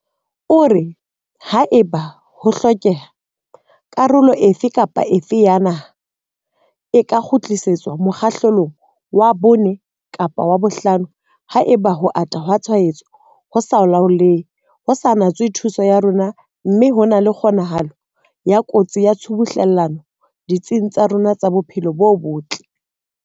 O re, Haeba ho hlokeha, karolo efe kapa efe ya naha e ka kgutlisetswa mokgahlelong wa 4 kapa wa 5 haeba ho ata ha tshwaetso ho sa laolehe ho sa natswe thuso ya rona mme ho na le kgonahalo ya kotsi ya tshubuhlellano ditsing tsa rona tsa bophelo bo botle.